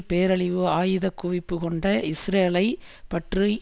பேரழிவு ஆயுதக்குவிப்பு கொண்ட இஸ்ரேலைப் பற்றி